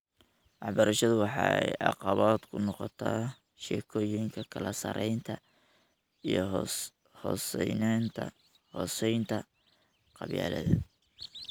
Waxbarashadu waxay caqabad ku noqotaa sheekoyinka kala sarreynta iyo hoosaynta qabyaaladda.